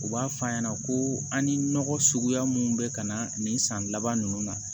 U b'a f'a ɲɛna ko an ni nɔgɔ suguya mun be ka na nin san laban nunnu na